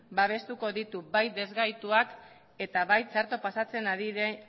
babestuko ditu bai ezgaituak eta bai txarto pasatzen